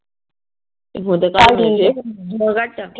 ਚੱਲ ਠੀਕ ਫ਼ੋਨ ਕੱਟ